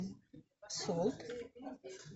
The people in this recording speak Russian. солт